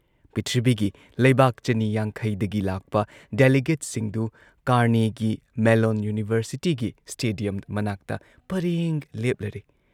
ꯄꯤꯊ꯭ꯔꯤꯕꯤꯒꯤ ꯂꯩꯕꯥꯛ ꯆꯅꯤ ꯌꯥꯡꯈꯩꯗꯒꯤ ꯂꯥꯛꯄ ꯗꯦꯂꯤꯒꯦꯠꯁꯤꯡꯗꯨ ꯀꯥꯔꯅꯦꯒꯤ ꯃꯦꯜꯂꯣꯟ ꯌꯨꯅꯤꯚꯔꯁꯤꯇꯤꯒꯤ ꯁ꯭ꯇꯦꯗꯤꯌꯝ ꯃꯅꯥꯛꯇ ꯄꯔꯦꯡ ꯂꯦꯞꯂꯔꯦ ꯫